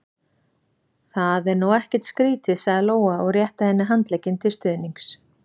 Það er nú ekkert skrítið, sagði Lóa og rétti henni handlegginn til stuðnings.